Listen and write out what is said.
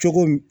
Cogo min